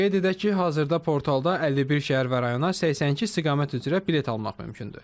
Qeyd edək ki, hazırda portalda 51 şəhər və rayona 82 istiqamət üzrə bilet almaq mümkündür.